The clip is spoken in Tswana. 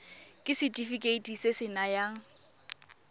ke setefikeiti se se nayang